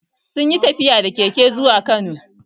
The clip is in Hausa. Sun yi tafiya da keke zuwa kano